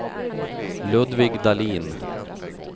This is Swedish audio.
Ludvig Dahlin